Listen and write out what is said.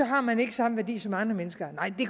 har man ikke samme værdi som andre mennesker